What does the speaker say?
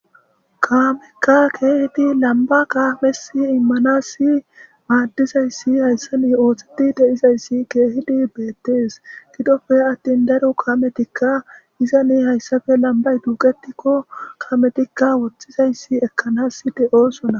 kaamekka keehidi lamba kaamesi immanassi maaddizayssi hayssani ooththeti deizayssi keehidi beettees gidofe attin daro kametikka izani hayssafe lambay duuqetikko kaametikka woththizayssi ekkanas de7osona